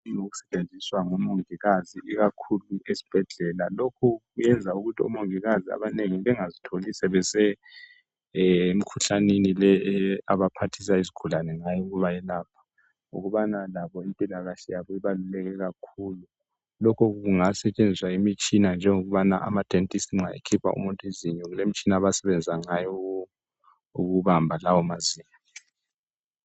esetshenziswa ngomongikazi ikakhulu ezibhedlela. Lokhu kuyenza ukuthi omongikazi abanengi bengazitholi sebemkhuhlaneni le abaphathisa izigulane ngayo ukubayelapha , ngokubana labo impilakahle yabo ibaluleke kakhulu, lokho kungasetshenziswa imitshina njengokubana ama dentist nxa ekhipha umuntu izinyo, kulemitshina abasebenza ngayo ukubamba lawo mazinyo.